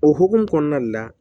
O hokumu kɔnɔna de la